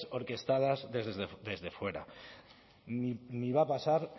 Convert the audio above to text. orquestadas desde fuera ni va a pasar